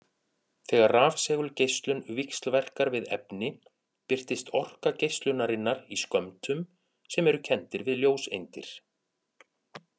Þegar rafsegulgeislun víxlverkar við efni birtist orka geislunarinnar í skömmtum sem eru kenndir við ljóseindir.